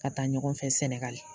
Ka taa ɲɔgɔn fɛ sɛnɛgali